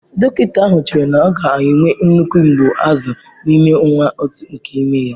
Dọkịta ahụ chere na ọ ga-enwe nnukwu mgbu azụ n'ime ọnwa atọ nke ime ya.